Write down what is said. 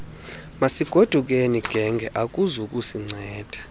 masigodukeni genge akuzukusinceda